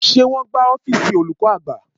Ṣé wọn ń gbá ọ́fíìsì olùkọ́ àgbà?